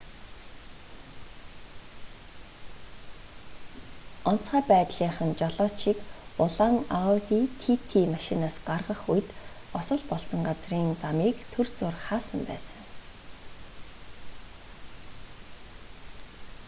онцгой байдлынхан жолоочийг улаан ауди тити машинаас гаргах үед осол болсон газрын замыг түр зуур хаасан байсан